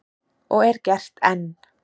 Og er gert enn.